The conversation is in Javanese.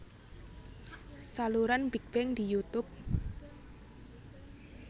Saluran Big Bang di YouTube